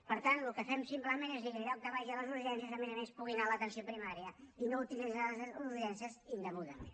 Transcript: per tant el que fem simplement és dir en lloc que vagi a les urgències que a més a més pugui anar a l’atenció primària i no utilitzarà les urgències indegudament